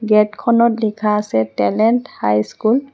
gate খনত লিখা আছে টেলেণ্ট হাই স্কুল